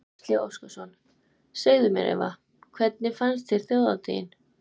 Gísli Óskarsson: Segðu mér Eva, hvernig fannst þér Þjóðhátíðin?